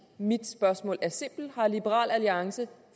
mit spørgsmål er simpelt har liberal alliance